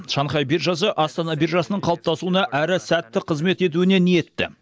шанхай биржасы астана биржасының қалыптасуына әрі сәтті қызмет етуіне ниетті